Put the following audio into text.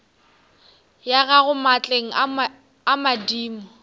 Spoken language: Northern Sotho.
ya gago maatleng a madimo